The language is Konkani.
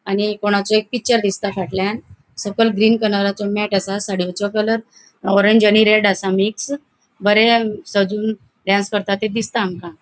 आणि कोणाचे एक पिक्चर दिसता फाटल्यान सकयल ग्रीन कलराचो मॅट आसा साडियेचो कलर ऑरेंज आणि रेड आसा मिक्स बरे सजून डांस करता ते दिसता आमका.